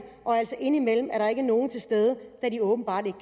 og altså indimellem er der ikke nogen til stede da de åbenbart ikke